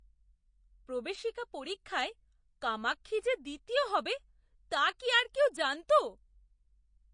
প্রবেশিকা পরীক্ষায় কামাক্ষী যে দ্বিতীয় হবে তা কি আর কেউ জানতো?